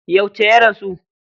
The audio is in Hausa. Yauce ya rasu?